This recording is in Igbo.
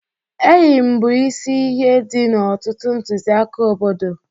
Eyịm bụ isi ihe dị n'ọtụtụ ntụziaka obodo.